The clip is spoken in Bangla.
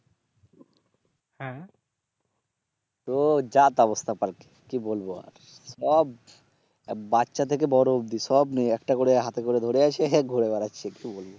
তো যা তা অবস্থা পার্ক এ কি বলবো আর সব বাচ্চা থেকে বড় অব্দি সব একটা করে হাতে করে ধরে আছে ঘুরে বেড়াচ্ছে কি বলব